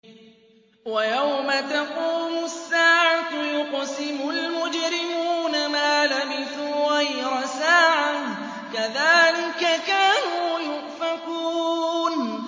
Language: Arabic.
وَيَوْمَ تَقُومُ السَّاعَةُ يُقْسِمُ الْمُجْرِمُونَ مَا لَبِثُوا غَيْرَ سَاعَةٍ ۚ كَذَٰلِكَ كَانُوا يُؤْفَكُونَ